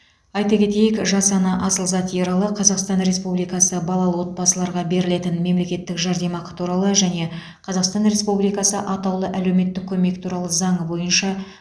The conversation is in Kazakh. айта кетейік жас ана асылзат ералы қазақстан республикасы балалы отбасыларға берілетін мемлекеттік жәрдемақы туралы және қазақстан республикасы атаулы әлеуметтік көмек туралы заңы бойынша